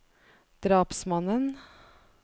drapsmannen